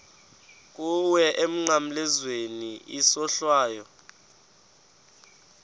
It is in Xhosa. kuwe emnqamlezweni isohlwayo